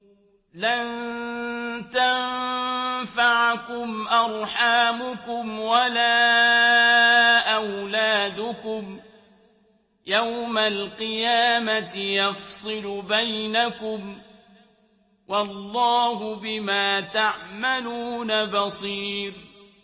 لَن تَنفَعَكُمْ أَرْحَامُكُمْ وَلَا أَوْلَادُكُمْ ۚ يَوْمَ الْقِيَامَةِ يَفْصِلُ بَيْنَكُمْ ۚ وَاللَّهُ بِمَا تَعْمَلُونَ بَصِيرٌ